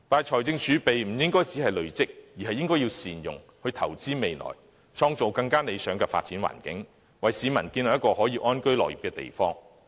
可是，我們不應只是累積財政儲備，而應該善用儲備，投資未來，創造更加理想的發展環境，為市民建立一個可以安居樂業的地方。